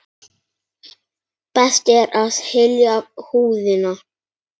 Best er að hylja húðina.